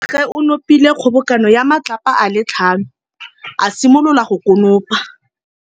Morwa wa gagwe o nopile kgobokanô ya matlapa a le tlhano, a simolola go konopa.